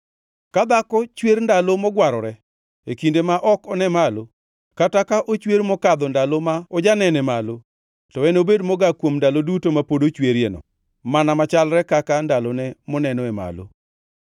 “ ‘Ka dhako chwer ndalo mogwarore e kinde ma ok one malo, kata ka ochwer mokadho ndalo ma ojanene malo, to enobed mogak kuom ndalo duto ma pod ochwerieno mana machalre kaka ndalone monenoe malo.